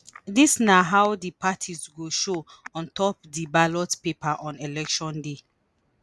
dis na how di parties go show on top of di ballot paper on election day.